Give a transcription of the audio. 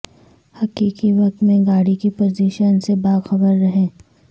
حقیقی وقت میں گاڑی کی پوزیشن سے باخبر رہیں